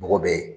Mɔgɔ bɛ ye